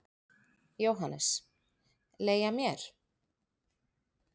JÓHANNES: Leigja mér?